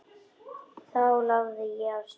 Þá lagði ég af stað.